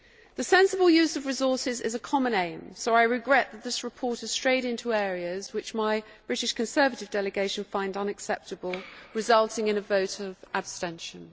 The sensible use of resources is a common aim, so I regret that this report has strayed into areas which my British Conservative delegation find unacceptable, resulting in a vote of abstention.